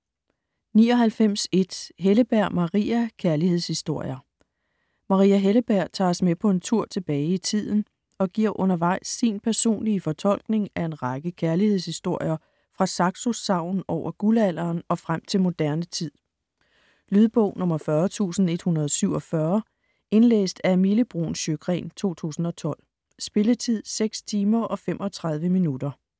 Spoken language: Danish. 99.1 Helleberg, Maria: Kærlighedshistorier Maria Helleberg tager os med på en tur tilbage i tiden og giver undervejs sin personlige fortolkning af en række kærlighedshistorier fra Saxos sagn over guldalderen og frem til moderne tid. Lydbog 40147 Indlæst af Mille Bruun Sjøgren, 2012. Spilletid: 6 timer, 35 minutter.